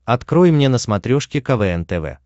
открой мне на смотрешке квн тв